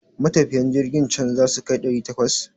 Matafiyan jirkin can zasu kai ɗari takwas?